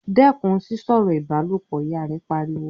"Dẹ́kun sísọ̀rọ̀ ìbálòpọ̀!", Ìyá rẹ̀ pariwo